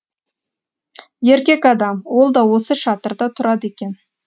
еркек адам ол да осы шатырда тұрады екен